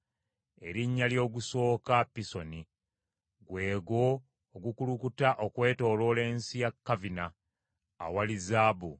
Erinnya ly’ogusooka Pisoni, gwe gwo ogukulukuta okwetooloola ensi ya Kavira, awali zaabu;